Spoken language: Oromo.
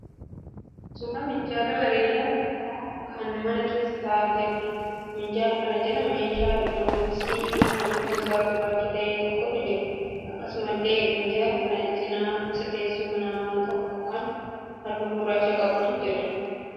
Suuraa minjaala bareedaa tokko kan mana keessa ta'aa jiruudha. Minjaala kana irra meeshaa 'elekirooniksii' kan halluun isaa gurraacha ta'e tokkotu jira. Akkasumallee minjaala kana cina isaa teessuma nama tokko kan halluu gurraacha qabu jira.